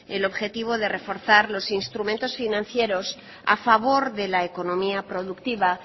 el objetivo de reforzar los instrumentos financieros a favor de la economía productiva